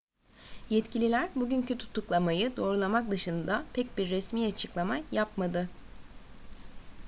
yetkililer bugünkü tutuklamayı doğrulamak dışında pek bir resmi açıklama yapmadı